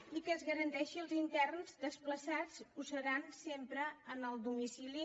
i que es garanteixi als interns desplaçats que ho seran sempre en el domicili